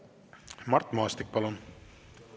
Mart Maastik, palun!